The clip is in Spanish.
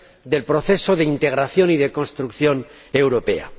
del proceso de integración y de construcción europea.